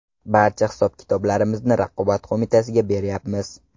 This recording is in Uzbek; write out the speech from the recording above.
Barcha hisob-kitoblarimizni Raqobat qo‘mitasiga beryapmiz.